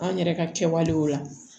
An yɛrɛ ka kɛwalew la